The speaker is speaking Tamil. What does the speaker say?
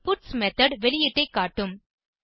பட்ஸ் மெத்தோட் வெளியீட்டை காட்டும்